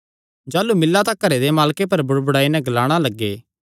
जाह़लू मिल्ला तां घरे दे मालके पर बुड़बुड़ाई नैं ग्लाणा लग्गे